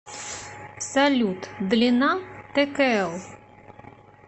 салют длина ткл